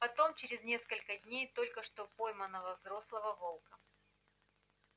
потом через несколько дней только что пойманного взрослого волка